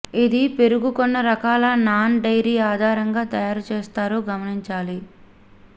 ఇది పెరుగు కొన్ని రకాల నాన్ డైరీ ఆధారంగా తయారు చేస్తారు గమనించాలి